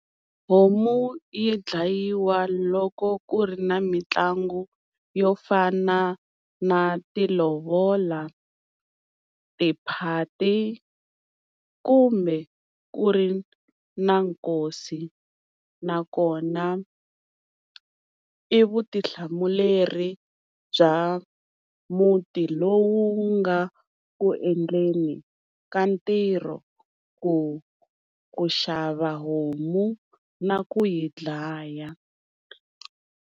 Homu yi dlayiwa loko ku ri na mitlangu yo fana na tilovola, tiphati kumbe ku ri na nkosi. Nakona i vutihlamuleri bya muti lowu nga ku endleni ka ntirho ku ku xava homu na ku yi dlaya.